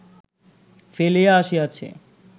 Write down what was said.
ফেলিয়া আসিয়াছি